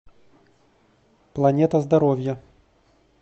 планета здоровья